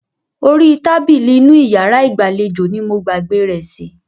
Orí tábìlì inú iyàrá ìgbàlejò ní mo gbàgbé rẹ̀ sí.